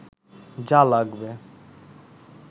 যা লাগবে